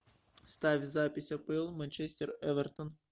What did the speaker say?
ставь запись апл манчестер эвертон